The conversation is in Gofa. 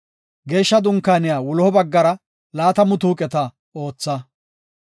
Geeshsha Dunkaaniya wuloha baggara laatamu tuuqeta ootha.